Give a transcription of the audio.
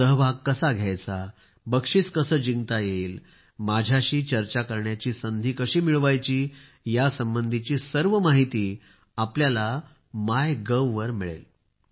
सहभाग कसा घ्यायचा बक्षीस कसे जिंकता येईल माझ्याशी चर्चा करण्याची संधी कशी मिळवायची यासंबंधी सर्व माहिती आपल्याला मायगोव वर मिळेल